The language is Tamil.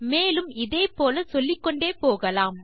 மேலும் இதே போல சொல்லிக்கொண்டு போகலாம்